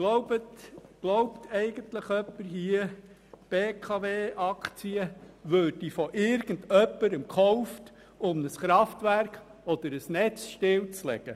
Glaubt eigentlich jemand in diesem Saal, die BKW-Aktien würden von irgendjemandem gekauft, um ein Kraftwerk oder ein Netz stillzulegen?